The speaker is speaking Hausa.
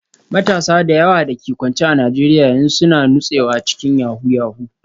Matasa da yawa da ke kwance a Najeriya yanzu suna nutsewa cikin yahoo yahoo